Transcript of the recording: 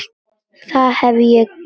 Það hef ég gert.